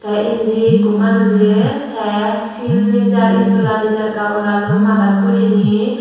te indi ikko manujey tey sil nejar iddola nejar gabalaloi madad guriney.